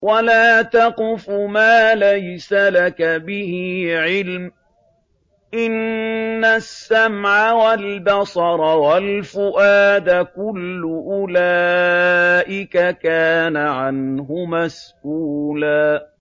وَلَا تَقْفُ مَا لَيْسَ لَكَ بِهِ عِلْمٌ ۚ إِنَّ السَّمْعَ وَالْبَصَرَ وَالْفُؤَادَ كُلُّ أُولَٰئِكَ كَانَ عَنْهُ مَسْئُولًا